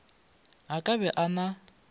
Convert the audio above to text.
a ka be a na